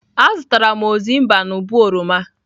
Azụtara m ozimba n'ubo oroma.